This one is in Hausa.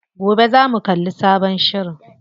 Gobe zamu kalli sabon shirin.